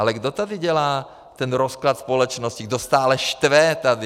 Ale kdo tady dělá ten rozklad společnosti, kdo stále štve tady?